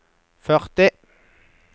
førti